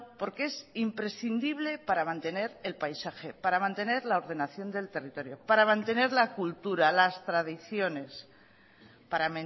porque es imprescindible para mantener el paisaje para mantener la ordenación del territorio para mantener la cultura las tradiciones para